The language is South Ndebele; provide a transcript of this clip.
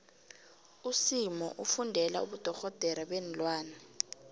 usimo ufundela ubudorhodere beenlwane